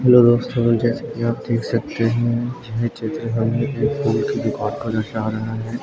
Hello दोस्तों जैसे की आप देख सकते हैं यह चित्र हमे फूल की दुकान का नजर है।